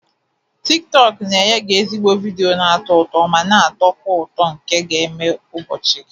tiktok na-enye gị ezigbo vidiyo na-atọ ụtọ ma na-atọ ụtọ nke ga-eme ụbọchị gị